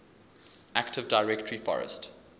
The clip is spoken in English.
active directory forest